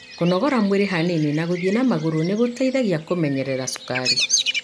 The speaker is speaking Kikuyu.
Kũnogorgua mwĩri hanini na gũthĩi na magũru nĩgũteithagia kũmenyerera cukari.